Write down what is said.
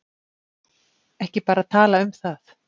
Ekki bara tala um það.